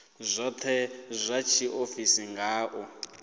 dzothe dza tshiofisi nga u